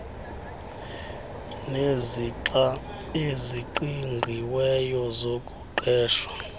nezixa eziqingqiweyo zokuqeshwa